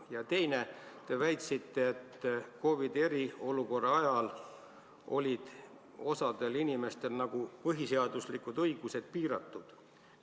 Ja teiseks: te väitsite, et COVID-i eriolukorra ajal olid osadel inimestel põhiseaduslikud õigused piiratud.